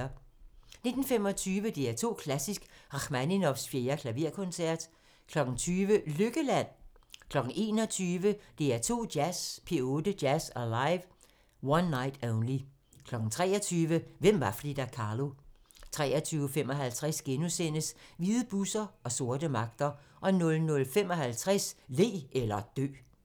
19:25: DR2 Klassisk: Rakhmaninovs 4. Klaverkoncert 20:00: Lykkeland? 21:00: DR2 Jazz: P8 Jazz Alive - One Night Only 23:00: Hvem var Frida Kahlo? 23:55: Hvide busser og sorte magter * 00:55: Le eller dø